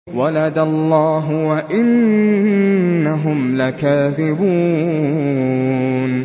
وَلَدَ اللَّهُ وَإِنَّهُمْ لَكَاذِبُونَ